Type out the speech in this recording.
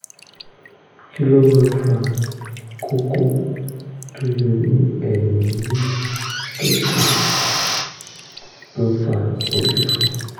kí ló ń fa kókó tó yọ ní ẹ̀yìn orí tó sì ń fa orí fífọ́?